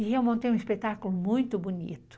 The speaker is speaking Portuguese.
E eu montei um espetáculo muito bonito.